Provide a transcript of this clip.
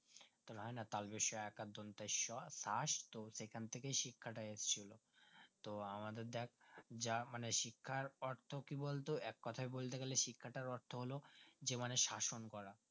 তোর হয় না শ আ স শাস তো সেখান থেকে শিক্ষাটা এসেছে তো আমাদের ডেকে যা মানে শিক্ষার পড়তো কি বলতো এককোথায় বলতেগেলে শিখাতার অর্থ হলো শাসন করা